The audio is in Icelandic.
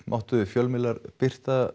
máttu fjölmiðlar birta